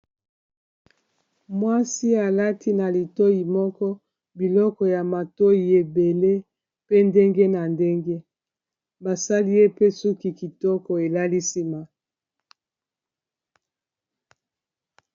Mwasi alati na litoi moko biloko ya matoi ebele pe ndenge na ndenge basali yepe suki kitoko elali nsima.